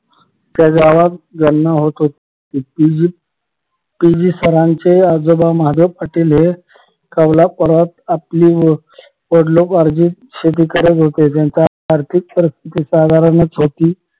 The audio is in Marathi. त्या गावात गणना होत होती पी जी पी जी सरांचे आजोबा महादेव पाटील हे कौलापूरात आपली वडिलोपार्जित शेती करत होती त्यांचा आर्थिक परिस्थिती साधारणचह होती